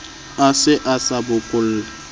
a se a sa bokolle